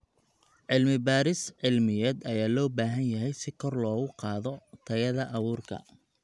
Cilmi-baaris cilmiyeed ayaa loo baahan yahay si kor loogu qaado tayada abuurka.